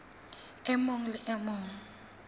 e mong le e mong